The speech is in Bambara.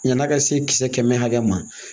Yan'a ka se kisɛ kɛmɛ hakɛ ma